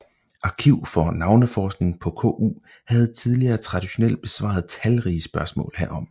Arkiv for Navneforskning på KU havde tidligere traditionelt besvaret talrige spørgsmål herom